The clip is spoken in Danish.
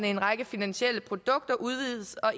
en række finansielle produkter udvides og